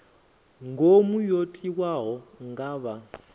ngomu yo tiwaho nga vha